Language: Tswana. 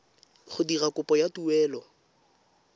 go dira kopo ya taelo